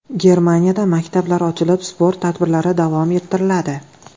Germaniyada maktablar ochilib, sport tadbirlari davom ettiriladi.